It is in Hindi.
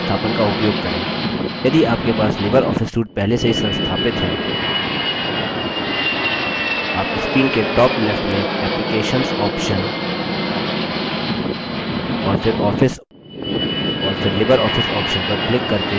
यदि आपके पास लिबर office suite पहले से ही संस्थापित है आप screen के top left में applications option और फिर office और फिर libreoffice option पर क्लिक करके लिबर office calc पायेंगे